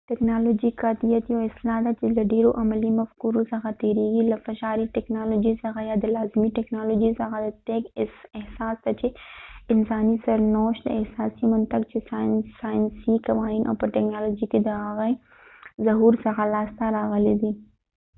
ټکنالوژيکي قاطعیت یو اصلاح ده چې له ډيرو عملي مفکورو څخه تیرېږي له فشاري ټکنالوژي څخه یا د لازمي ټکنالوژۍ څخه دقیق احساس ته چې انساني سرنوشت د اساسي منطق چې سایسني قوانین او په ټکنالوژۍ کې د هغې ظهور څخه لاسته راغلی دی